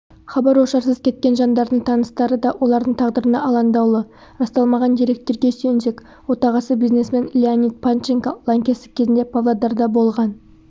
хабар-ошарсыз кеткен жандардың таныстары да олардың тағдырына алаңдаулы расталмаған деректерге сүйенсек отағасы бизнесмен леонид панченко лаңкестік кезінде павлодарда болған